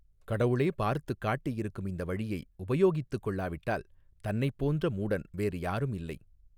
கடவுளே பார்த்துக் காட்டியிருக்கும் இந்த வழியை உபயோகித்துக் கொள்ளாவிட்டால் தன்னைப் போன்ற மூடன் வேறு யாரும் இல்லை.